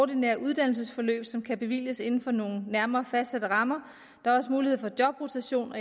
ordinære uddannelsesforløb som kan bevilges inden for nogle nærmere fastsatte rammer der er også mulighed for jobrotation og